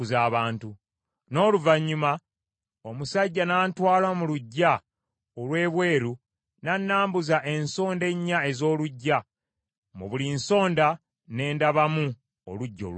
N’oluvannyuma omusajja n’antwala mu luggya olw’ebweru, n’annambuza ensonda ennya ez’oluggya, mu buli nsonda ne ndabamu oluggya olulala.